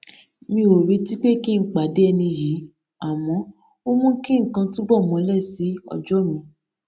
mi ò retí pé kí n pàdé ẹni yìí àmọ ó mú kí nǹkan túbọ mole si ojo mi